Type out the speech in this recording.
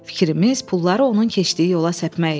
Fikrimiz pulları onun keçdiyi yola səpmək idi.